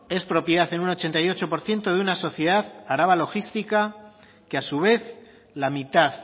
es propiedad en un ochenta y ocho por ciento de una sociedad araba logística que a su vez la mitad